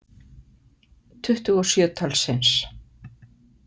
Tuttugu og sjö talsins.